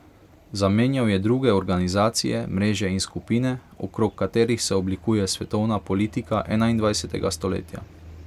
Zamenjal je druge organizacije, mreže in skupine, okrog katerih se oblikuje svetovna politika enaindvajsetega stoletja.